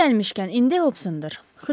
Yeri gəlmişkən, indi Hobsondır.